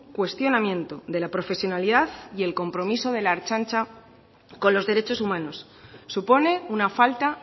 cuestionamiento de la profesionalidad y el compromiso de la ertzaintza con los derechos humanos supone una falta